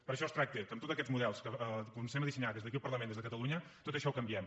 per això es tracta que amb tots aquests models que comencem a dissenyar des d’aquí el parlament des de catalunya tot això ho canviem